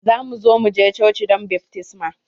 Za mu zo mu je coci don baftisma